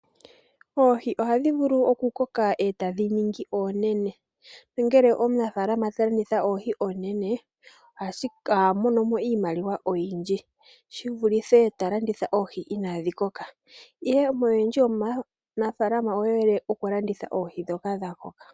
Oohi ohadhi vulu ku koka eta dhi ningi oonene, nongele omunafaalama ta landitha oohi oonene oha mono iimaliwa oyindji shi vulithe ta landitha oohi inadhi koka , oyendji yomanaafalama oye hole okulanditha oohi dhoka dha koka.